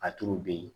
A tulu bɛ yen